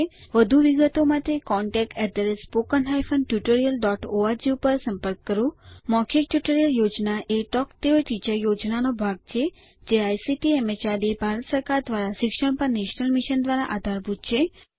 વધુ વિગતો માટે contactspoken tutorialorg ઉપર સંપર્ક કરો મૌખિક ટ્યુટોરીયલ યોજના એ ટોક ટુ અ ટીચર યોજનાનો ભાગ છે જે આઇસીટીએમએચઆરડીભારત સરકાર દ્વારા શિક્ષણ પર નેશનલ મિશન દ્વારા આધારભૂત છે